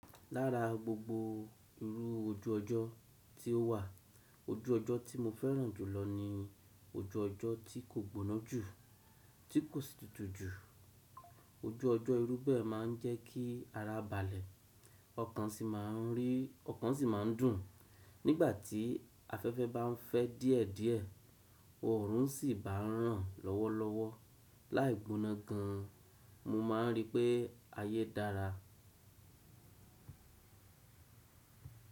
Lára gbogbo irú ojú ọjọ́ tí ó wà, ojú ọjọ́ tí mo fẹ́ràn jùlọ ni ojú ọjọ́ tí kò gbóná jù, tí kò sì tutù jù. Ojú ọjọ́ irú bẹ́ẹ̀ máa ń jẹ́ kí ara balẹ̀, ọkàn sì máa ń rí, ọkàn sì máa ń dùn. Nígbà tí afẹ́fẹ́ bá ń fẹ́ díẹ̀díẹ̀, oòrùn sì bá ń ràn lọ́wọ́lọ́wọ́ láì gbóná gan, mo máa ń rí pé ayé dára.